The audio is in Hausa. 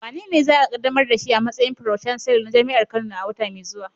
Wanene za a kaddamar da shi a matsayin Pro-chancellor na jami'ar Kano a wata mai zuwa?